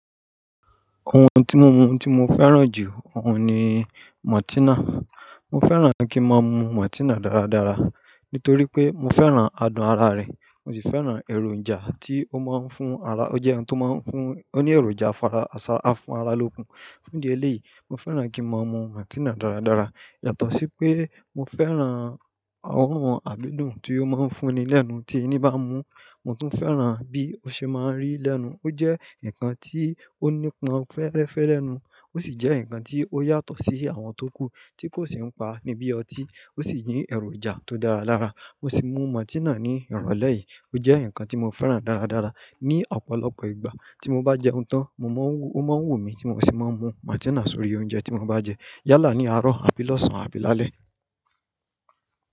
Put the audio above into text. Ohun tí mo mu tí mo fẹ́ràn jù ọ̀hun ni Mọrtina. Mo fẹ́ràn kí n máa mu Mọtina dáradára nítorí pé mo fẹ́ràn aadùn ara rẹ̀. Mo sì fẹ́ràn èròjà tí ó máa ń fún ara. Ó jẹ́ ohun tí ó máa ń fún-- ó ní èròjà afára, aṣa-- a fún ara lókun. Fún di ẹlẹ́ yìí, mo fẹ́ràn kí n máa mu Matina dáradára. Yàtọ̀ sí pé mo fẹ́ràn àwọn àdídùn ti ó máa ń fún ni lẹ́nu tí ẹni bá mu, mo tún fẹ́ràn bí ó ṣe máa ń rì lẹ́nu. Ó jẹ́ nǹkan tí ó ní pọn fẹ́rẹ́fẹ́ lẹ́nu, ó sì jẹ́ nǹkan tí ó yàtọ̀ sí àwọn tó kù tí kò sì ń pa níbí ọtí, ó sì jẹ́ èròjà tó dára lára. Mo sì mu Matina ní ìrọ̀lẹ́ yìí. Ó jẹ́ nǹkan tí mo fẹ́ràn dáradára. Ni ọ̀pọ̀lọpọ̀ ìgbà tí mo bá jẹun tán, mo máa ń wú-- ó máa ń wù mí tí mo sì máa ń mu Matina sórí oúnjẹ tí mo bá jẹ. Yálà ni, àárọ̀, tàbí lọ́sàn-án, tàbí lálẹ́.